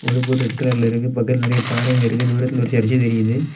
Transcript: இந்த boat red கலர்ல இருக்கு பக்கத்துல நெரைய பாறைங்க இருக்கு தூரத்தில ஒரு சர்ச் தெரியுது.